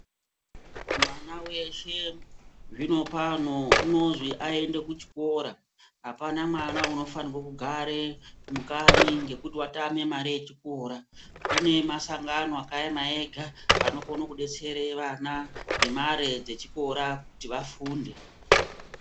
Mwana weshe zvino pano unozi ayende kuchikora apana mwana unofanire kugara mukanyi ngekuti watama mare yechikora kune masangano akaema ega anokone kudetsera vana ngemare dzechikora kuti vafunde.